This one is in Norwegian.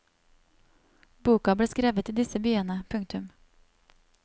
Boka ble skrevet i disse byene. punktum